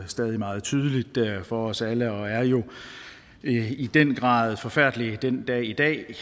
stadig meget tydeligt for os alle og er jo i den grad forfærdelige den dag i dag